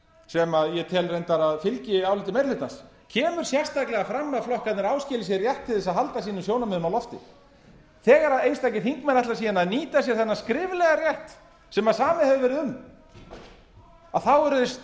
sem ég tel reyndar að fylgi áliti meiri hlutans kemur sérstaklega fram að flokkarnir áskilji sér rétt til að halda sínum sjónarmiðum á lofti þegar einstakir þingmenn ætla síðan að nýta sér þennan skriflega rétt sem samið hefur verið um eru þeir